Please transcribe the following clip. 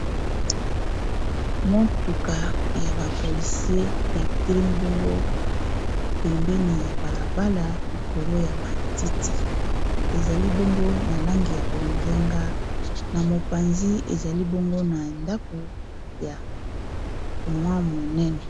motuka ya bapolisie etelemi bongo pembeni ya balabala likolo ya matiti ezali bongo na langi ya bozenga na mopanzi ezali bongo na ndako ya mwa monene